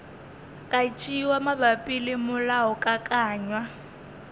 ka tšewa mabapi le molaokakanywa